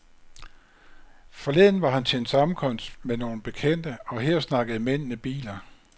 Forleden var han til en sammenkomst med nogle bekendte, og her snakkede mændene biler.